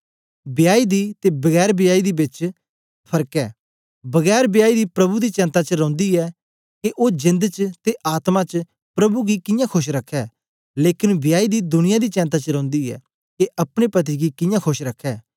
वियाई दी ते बगैर वियाई दी बेच बी फर्क ऐ बगैर वियाई दी प्रभु दी चेंता च रौंदी ऐ के ओ जेंद च ते आत्मा च प्रभु गी कियां खोश रखै लेकन वियाई दी दुनिया दी चेंता च रौंदी ऐ के अपने पति गी कियां खोश रखै